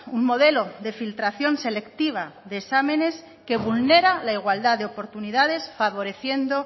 un modelo de filtración selectiva de exámenes que vulnera la igualdad de oportunidades favoreciendo